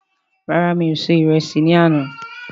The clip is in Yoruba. Rárá, mí o ṣe ìrẹsì ní àna